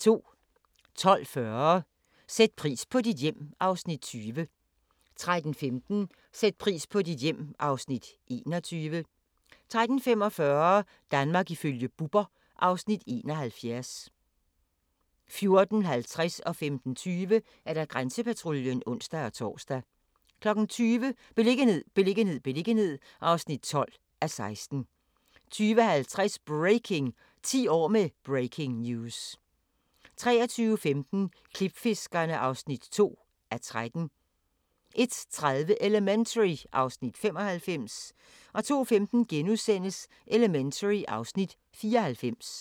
12:40: Sæt pris på dit hjem (Afs. 20) 13:15: Sæt pris på dit hjem (Afs. 21) 13:45: Danmark ifølge Bubber (Afs. 71) 14:50: Grænsepatruljen (ons-tor) 15:20: Grænsepatruljen (ons-tor) 20:00: Beliggenhed, beliggenhed, beliggenhed (12:16) 20:50: Breaking! – 10 år med Breaking News 23:15: Klipfiskerne (2:13) 01:30: Elementary (Afs. 95) 02:15: Elementary (Afs. 94)*